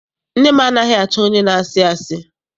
Nne m anaghị achọ onye na-asị asị.